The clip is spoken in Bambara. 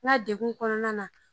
N ka degen kɔnɔna na